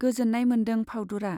गोजोन्नाय मोन्दों फाउदुरा।